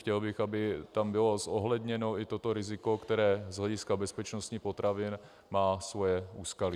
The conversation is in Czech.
Chtěl bych, aby tam bylo zohledněno i toto riziko, které z hlediska bezpečnosti potravin má svoje úskalí.